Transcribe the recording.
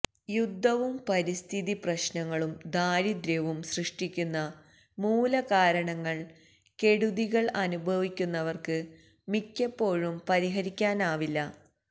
യുദ്ധവും പരിസ്ഥിതി പ്രശ്നങ്ങളും ദാരിദ്ര്യവും സൃഷ്ടിക്കുന്ന മൂലകാരണങ്ങൾ കെടുതികൾ അനുഭവിക്കുന്നവർക്ക് മിക്കപ്പോഴും പരിഹരിക്കാനാവില്ല